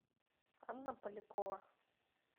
анна полякова